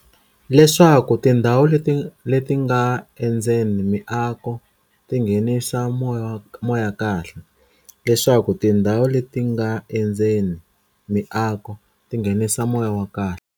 Leswaku tindhawu leti nga endzeni miako ti nghenisa moya kahle.